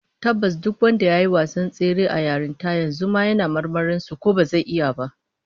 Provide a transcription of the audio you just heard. Tabbas duk wanda yayi wasan tsere na yarinta, yanzu ma yana marmarin su ko bazai iya ba